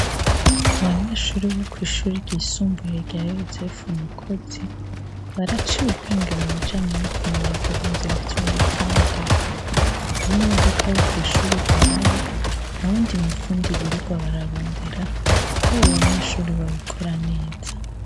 Abanyeshuri bo ku ishuri ry'isumbuye rya yosefu mukozi baraciye ubwenge mu bijanye no kumenya guhindura ivyuma vy'imodoka, iy'imodoka yo ku ishure Igwaye ntawundi mufundi biriwa bararondera ko abo banyeshuri babikora neza.